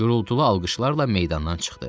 Gurultulu alqışlarla meydandan çıxdı.